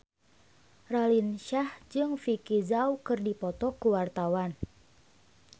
Raline Shah jeung Vicki Zao keur dipoto ku wartawan